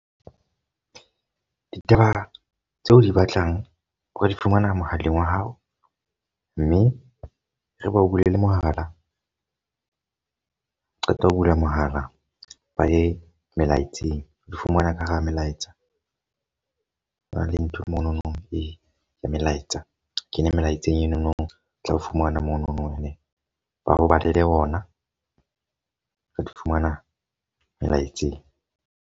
Ditaba tseo o di batlang o ka di fumana mohaleng wa hao. Mme re bao bulele mohala, o qeta ho bula mohala ba ye melaetseng. O di fumana ka hara melaetsa. Ho na e le nthwe monono e ya melaetsa. Kene melaetseng enono, tla fumana monono ene ba ho balele ona. Re di fumana melaetseng.